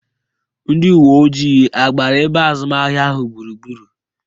Ndị uwe ojii agbara ebe azụmahịa ahụ gburugburu?